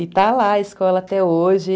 E está lá a escola até hoje.